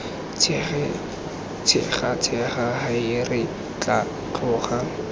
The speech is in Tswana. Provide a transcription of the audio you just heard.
tshegatshega hae re tla tloga